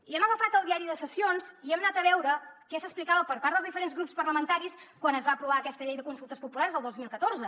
i hem agafat el diari de sessions i hem anat a veure què s’explicava per part dels diferents grups parlamentaris quan es va aprovar aquesta llei de consultes populars el dos mil catorze